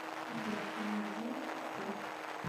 сбер перевод денег сестре